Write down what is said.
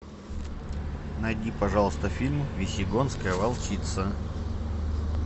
найди пожалуйста фильм весьегонская волчица